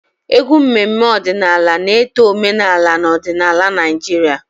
Egwu mmemme ọdịnala na-eto omenala na odinaala Naijiria.